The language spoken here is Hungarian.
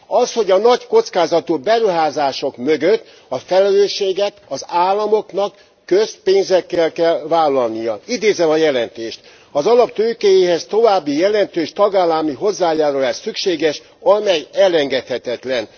Az, hogy a nagy kockázatú beruházások mögött a felelősséget az államoknak közpénzekkel kell vállalniuk. Idézem a jelentést az alaptőkéjéhez további jelentős tagállami hozzájárulás szükséges, amely elengedhetetlen.